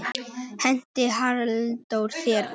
Henti Halldór þér út?